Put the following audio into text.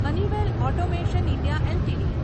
Honeywell automation India LTD